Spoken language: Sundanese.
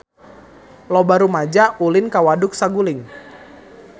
Loba rumaja ulin ka Waduk Saguling